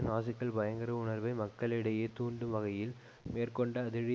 நாஜிக்கள் பயங்கர உணர்வை மக்களிடையே தூண்டும் வகையில் மேற்கொண்ட அதிரடி